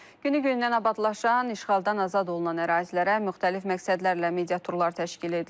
Günü-gündən abadlaşan, işğaldan azad olunan ərazilərə müxtəlif məqsədlərlə mediaturlar təşkil edilir.